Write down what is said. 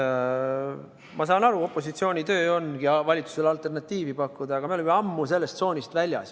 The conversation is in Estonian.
Ma saan aru, et opositsiooni töö ongi valitsusele alternatiivi pakkuda, aga me oleme ammu sellest tsoonist väljas.